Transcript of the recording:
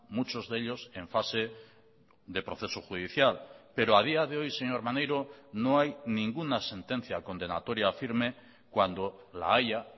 muchos de ellos en fase de proceso judicial pero a día de hoy señor maneiro no hay ninguna sentencia condenatoria firme cuando la haya